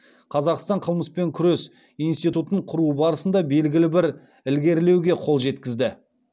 қазақстан қылмыспен күрес институтын құруы барысында белгілі бір ілгерілеуге қол жеткізді